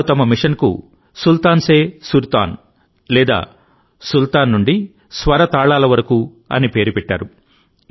వారు తమ మిషన్కు సుల్తాన్ సే సుర్తాన్ లేదా సుల్తాన్ నుండి స్వర తాళాల వరకు అని పేరు పెట్టారు